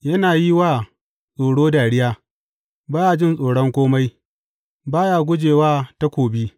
Yana yi wa tsoro dariya ba ya jin tsoron kome; ba ya guje wa takobi.